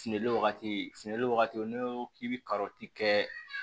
Finli wagati fununen wagati n'i ko k'i be karɔti kɛ